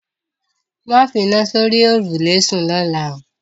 Máa fina sórí òrùlé sún lọ́la o